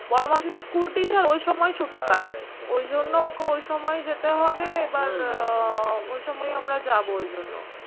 বড় মাসি তো school teacher ওই সময় ছুটি পায়। ওই জন্য ওকে ওই সময় যেতে হবে এবার উহ ওই সময় আমরা যাব ওই জন্য।